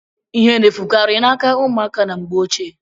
Ihe na-efukari n'aka ụmụaka na mgbe ochie.